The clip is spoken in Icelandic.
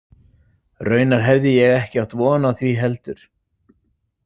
Raunar hefði ég ekki átt von á því heldur.